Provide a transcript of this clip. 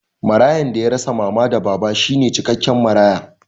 Marayan da ya rasa mama da baba shine cikakken maraya